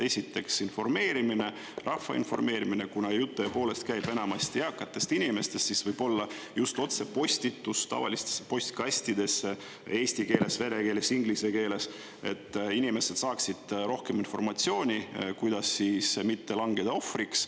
Esiteks, informeerimine, rahva informeerimine – kuna jutt tõepoolest käib enamasti eakatest inimestest, siis võib-olla just otsepostitus tavalistesse postkastidesse eesti keeles, vene keeles, inglise keeles, et inimesed saaksid rohkem informatsiooni, kuidas mitte langeda ohvriks.